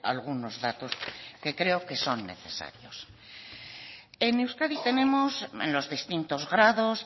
algunos datos que creo que son necesarios en euskadi tenemos en los distintos grados